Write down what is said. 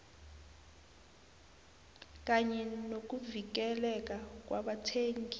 kanye nokuvikeleka kwabathengi